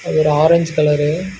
அது ஒரு orange colour .